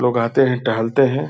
लोग आते हैं टहलते हैं।